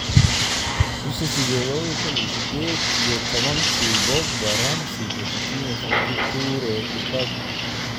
bisha sideedad lawo kun iyo sidded iyo tobaanki Pogba, Ramsey, Pochettino, Fekir, Toure, Lukaku